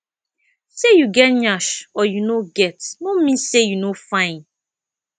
say you get yansh or you no get no mean say you no fine